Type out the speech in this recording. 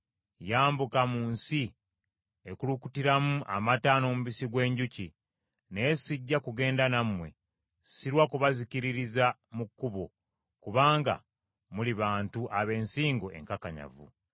Yambuka mu nsi ekulukutiramu amata n’omubisi gw’enjuki. Naye sijja kugenda nammwe; sirwa kubazikiririza mu kkubo, kubanga muli bantu ab’ensingo enkakanyavu.”